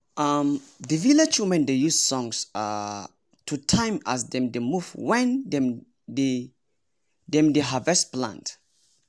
um the village women dey use songs um to time as dem dey move when dem dey dem dey harvest plant.